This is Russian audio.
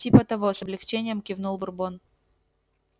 типа того с облегчением кивнул бурбон